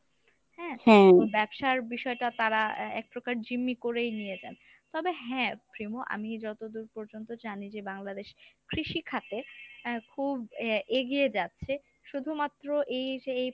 হ্যাঁ ব্যবসার বিষয়টা তারা এ~ এক প্রকার জিম্মি করেই নিয়ে যান। তবে হ্যাঁ প্রিমো আমি যতদূর পর্যন্ত জানি যে বাংলাদেশ কৃষিখাতে আহ খুব এ~ এগিয়ে যাচ্ছে শুধুমাত্র এই এই